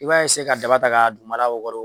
I b'a ka daba ta ka dugumana wakoro.